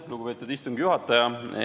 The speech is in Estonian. Lugupeetud istungi juhataja!